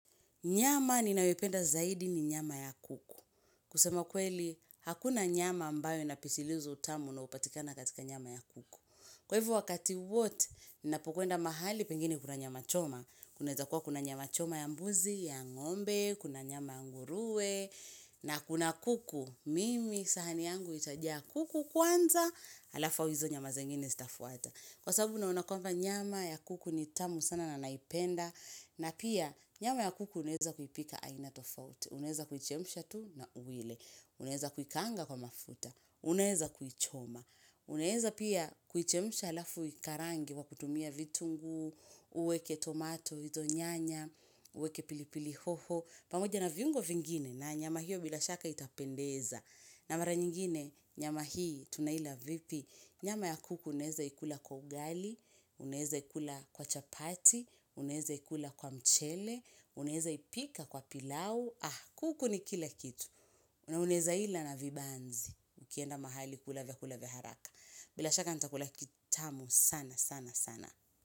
Nyama ninayopenda zaidi ni nyama ya kuku. Kusema kweli, hakuna nyama ambayo inapisiliza utamu na unaopatikana katika nyama ya kuku. Kwa hivo wakati wote, ninapo kwenda mahali, pengine kuna nyama choma. Kunaweza kuwa kuna nyama choma ya mbuzi, ya ngombe, kuna nyama ya nguruwe, na kuna kuku. Mimi sahani yangu itajaa kuku kwanza, alafu au hizo nyama zingine zitafuata. Kwa sababu na unakuwanga nyama ya kuku ni tamu sana na naipenda. Na pia nyama ya kuku unaweza kuipika aina tofaut, unaweza kuichemsha tu na uile, unaweza kuikangaa kwa mafuta, unaeza kuichoma, unaeza pia kuichemsha alafu uikarange wa kutumia vitunguu, uweke tomato, hizo nyanya, uweke pilipili hoho, pamoja na viungo vingine na nyama hiyo bilashaka itapendeza. Na mara nyingine nyama hii tunaila vipi. Nyama ya kuku unaweza ikula kwa ugali, unaeza ikula kwa chapati, unaeza ikula kwa mchele, unaeza ipika kwa pilau. Ah kuku ni kila kitu. Na unaweza ila na vibanzi. Ukienda mahali kula vyakula vya haraka. Bila shaka nitakula kitamu sana sana sana.